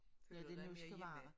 Føler du dig ikke mere hjemme?